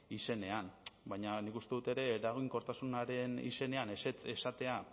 izenean baina nik uste dut ere eraginkortasunaren izenean ezetz esatea